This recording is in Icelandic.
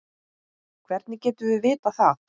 Hvernig getum við vitað það?